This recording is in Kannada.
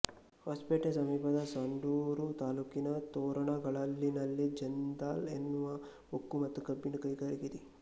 ಹೊಸಪೇಟೆ ಸಮೀಪದ ಸಂಡೂರು ತಾಲೂಕಿನ ತೊರಣಗಲ್ಲಿನಲ್ಲಿ ಜಿಂದಾಲ್ ಎನ್ನುವ ಉಕ್ಕು ಮತ್ತು ಕಬ್ಬಿಣ ಕೈಗಾರಿಕೆ ಇದೆ